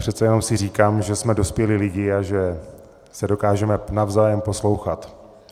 Přece jenom si říkám, že jsme dospělí lidé a že se dokážeme navzájem poslouchat.